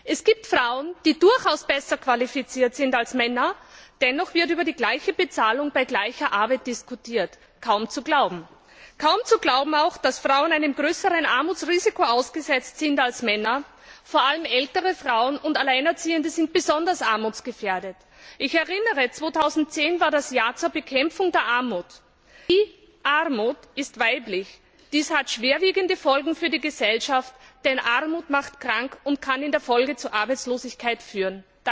Es gibt Frauen, die durchaus besser qualifiziert sind als Männer, dennoch wird über gleiche Bezahlung bei gleicher Arbeit diskutiert kaum zu glauben! Kaum zu glauben ist auch, dass Frauen einem größeren Armutsrisiko ausgesetzt sind als Männer vor allem ältere Frauen und Alleinerziehende sind armutsgefährdet. Ich erinnere daran 2010 war das Jahr zur Bekämpfung der Armut. Die Armut ist weiblich. Dies hat schwerwiegende Folgen für die Gesellschaft, denn Armut macht krank und kann in der Folge zu Arbeitslosigkeit führen.